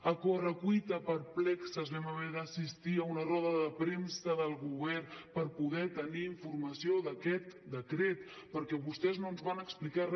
a correcuita perplexos vam haver d’assistir a una roda de premsa del govern per poder tenir informació d’aquest decret perquè vostès no ens van explicar re